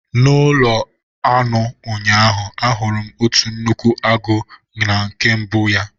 N'ụlọ anụ ụnyaahụ, ahụrụ m otu nnukwu agụ na nke mbụ ya.